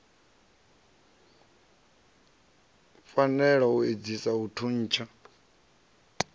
faneala u edzisa u thuntsha